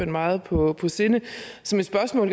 meget på sinde så mit spørgsmål